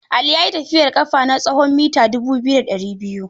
Ali ya yi tafiyar ƙafa na tsawon mita dubu biyu da ɗari biyu.